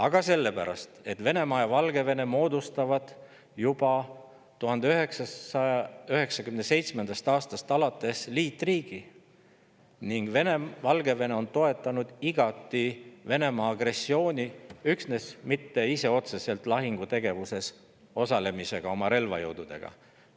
Aga sellepärast, et Venemaa ja Valgevene moodustavad juba alates 1997. aastast liitriigi ning Valgevene on igati toetanud Venemaa agressiooni, ta ei ole küll ise otseselt lahingutegevuses oma relvajõududega osalenud.